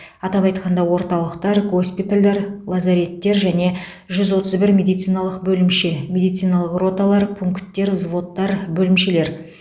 атап айтқанда орталықтар госпитальдар лазареттер және жүз отыз бір медициналық бөлімше медициналық роталар пункттер взводтар бөлімшелер